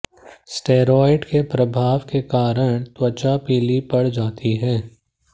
steroid के प्रभाव के कारण त्वचा पीली पड़ जाती है